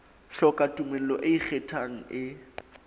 hloka tumello e ikgethang e